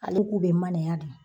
Ale k'u bɛ manaya de.